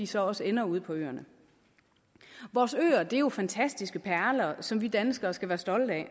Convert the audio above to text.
så også ender ude på øerne vores øer er jo fantastiske perler som vi danskere skal være stolte af